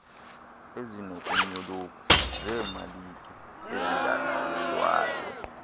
ezinokunyoluka zeemalike ezingalawulwayo